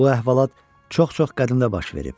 Bu əhvalat çox-çox qədimdə baş verib.